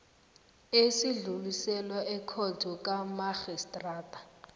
esidluliselwa ekhotho kamarhistrada